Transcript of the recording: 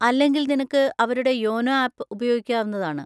അല്ലെങ്കിൽ നിനക്ക് അവരുടെ യോനോ ആപ്പ് ഉപയോഗിക്കാവുന്നതാണ്.